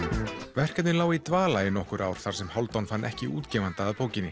verkefnið lá í dvala í nokkur ár þar sem Hálfán fann ekki útgefanda að bókinni